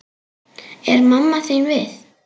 Er mamma þín við?